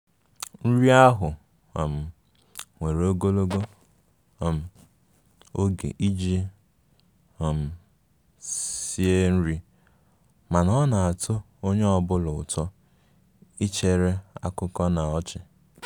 Nri ahụ um were ogologo um oge iji um sie nri, mana ọ na-atọ onye ọ bụla ụtọ ichere akụkọ na ọchị